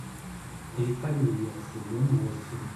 эйфория сезон восемь